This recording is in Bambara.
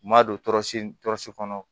N ma don tɔɔrɔsiri tɔsi kɔnɔ